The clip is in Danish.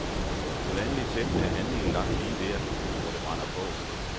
Med vanlig tæft er handlingen lagt lige der, hvor det brænder på.